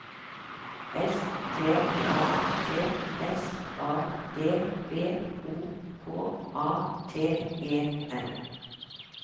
S T A T S A D V O K A T E N